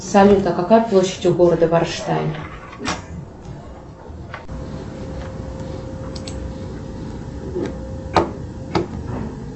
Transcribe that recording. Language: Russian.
салют а какая площадь у города варштайн